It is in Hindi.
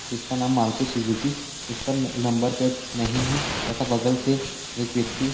जिसका नाम मारुति सुजुकी इस पर न-नंबर प्लेट नहीं है तथा बगल से एक व्यक्ति--